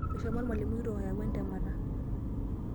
Oshomo olmalimui kitok ayau entemata.